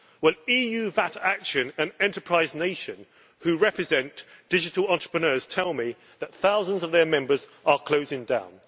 Well, EU VAT Action and Enterprise Nation, who represent digital entrepreneurs, tell me that thousands of their members are closing down.